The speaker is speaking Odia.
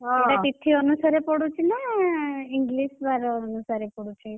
ଏଇଟା ତିଥି ଅନୁସାରେ ପଡୁଛି ନା English ବାର ଅନୁସାରେ ପଡୁଛି?